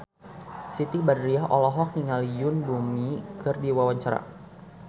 Siti Badriah olohok ningali Yoon Bomi keur diwawancara